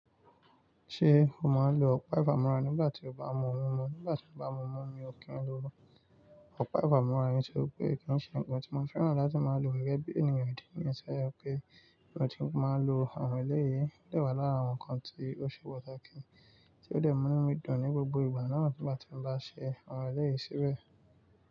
Ṣé o máa ń lo ọ̀pá ìfàmọ́ra nígbà tí o bá mú ohun mímu? Nígbà tí mo bá mú omi, mi ò kí n lo ọ̀pá ìfàmọ́ra nítorí pé kí n ṣe ǹkan tí mo fẹ́ràn láti máa lò gẹ́gẹ́ bí ènìyàn ìdí nìyen toje pe. Ìran tí ó máa ń lo àwọn eléyìí jẹ́ wà lára àwọn ǹkan tí ó ṣe pàtàkì tí ó dẹ̀ mú mí dùn ní gbogbo ìgbà náà tí bà tí bá ṣe àwọn eléyìí síbẹ̀.